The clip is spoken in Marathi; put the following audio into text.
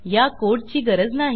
ह्या कोडची गरज नाही